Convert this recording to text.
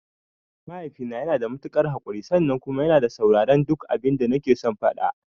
Mahaifina yanada matuƙar haƙurin sannan kuma yana sauraren duk abinda nakeson faɗa.